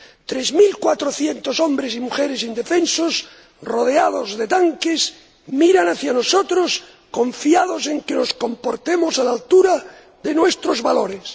Tres mil cuatrocientos hombres y mujeres indefensos, rodeados de tanques, miran hacia nosotros, confiados en que nos comportemos a la altura de nuestros valores.